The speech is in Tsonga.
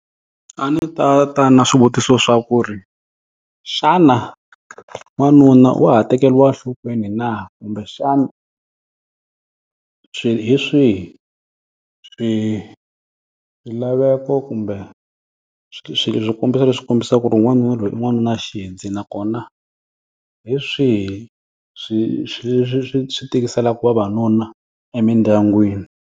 A ndzi ta ta na swivutiso swa ku ri, xana n'wanuna wa ha tekeriwa enhlokweni na? Kumbexana swi hi swihi swilaveko kumbe swikombiso leswi kombisaka ku ri n'wanuna loyi i n'wanunaxidzi. Nakona, hi swihi swi swi swi swi swi tikiselaka vavanuna emindyangwini?